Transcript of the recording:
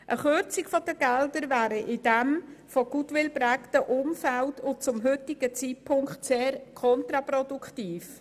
Eine Kürzung der Mittel wäre in diesem von Goodwill geprägten Umfeld und zum heutigen Zeitpunkt sehr kontraproduktiv.